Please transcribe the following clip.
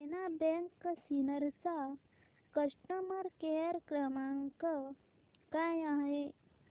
देना bank Sinnar चा customer care क्रमांक काय आहे